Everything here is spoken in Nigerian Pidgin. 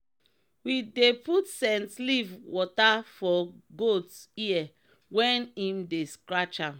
we dey put scent leaf wata for goat ear wen im dey scratch am.